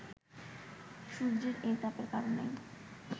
সূর্যের এই তাপের কারণেই